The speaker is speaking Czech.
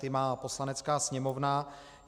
Ty má Poslanecká sněmovna.